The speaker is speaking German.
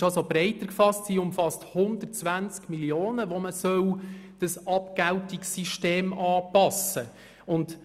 Sie ist also breiter gefasst und umfasst 120 Mio. Franken, an welchen das Abgeltungssystem angepasst werden soll.